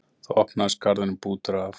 Þá opnaðist garðurinn, bútur af